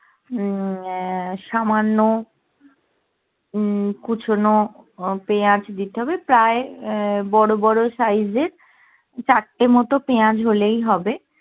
উম সামান্য হম কুচোনো পেঁয়াজ দিতে হবে প্রায়ই আহ বড়ো বড়ো সাইজ এর চারটে মতো পেঁয়াজ হলেই হবে